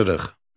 Tapşırıq.